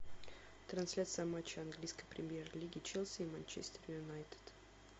трансляция матча английской премьер лиги челси и манчестер юнайтед